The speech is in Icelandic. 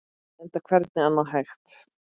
Enda hvernig annað hægt?